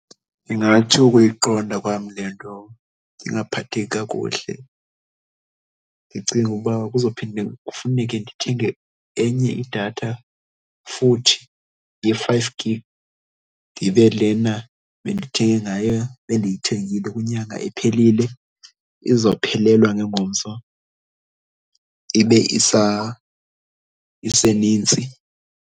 Ndingathi ukuyiqonda kwam le nto ndingaphatheki kakuhle. Ndicinge uba kuzophinde kufuneke ndithenge enye idatha futhi ye-five gig, ndibe lena bendithenge ngayo bendiyithengile unyaka ephelile izophelelwa ngengomso ibe iseninzi.